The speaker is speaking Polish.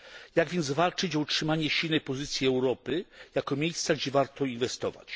Jak więc walczyć o utrzymanie silnej pozycji Europy jako miejsca, gdzie warto inwestować?